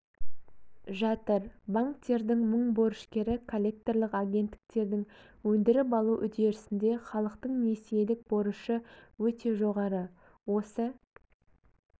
жатыр банктердің мың борышкері коллекторлық агенттіктердің өндіріп алу үдерісінде халықтың несиелік борышы өте жоғары осы